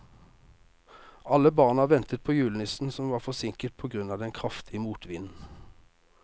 Alle barna ventet på julenissen, som var forsinket på grunn av den kraftige motvinden.